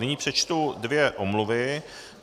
Nyní přečtu dvě omluvy.